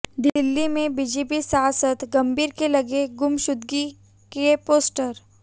दिल्ली में बीजेपी सांसद गंभीर के लगे गुमशुदगी के पोस्टर